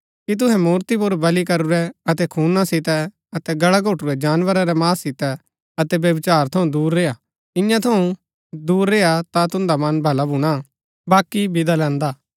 कि तुहै मूर्ति पुर बलि करूरै अतै खूना सितै अतै गल्ला घोटुरै जानवरा रै मांस सितै अतै व्यभिचार थऊँ दूर रेय्आ इन्या थऊँ दूर रेय्आ ता तुन्दा मन भला भूणा बाकी बिदा लैन्दा